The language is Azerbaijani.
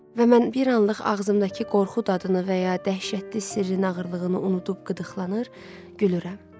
Və mən bir anlıq ağzımdakı qorxu dadını və ya dəhşətli sirrin ağırlığını unudub qıdıqlanır, gülürəm.